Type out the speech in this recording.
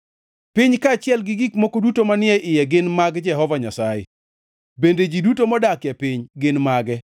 Piny kaachiel gi gik moko duto manie iye gin mag Jehova Nyasaye, bende ji duto modakie piny gin mage;